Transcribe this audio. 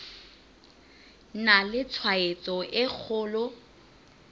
na le tshwaetso e kgolo